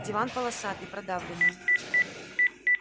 диван полосатый продавленный